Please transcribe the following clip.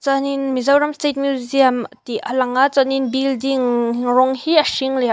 hianin mizoram state museum tih a lang a chuanin building rawng hi a hring leh a vâ--